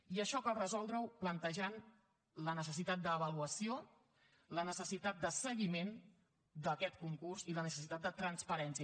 i això cal resoldre ho plantejant la necessitat d’avaluació la necessitat de seguiment d’aquest concurs i la necessitat de transparència